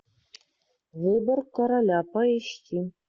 выбор короля поищи